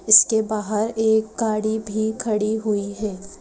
इसके बाहर एक गाड़ी भी खड़ी हुई है।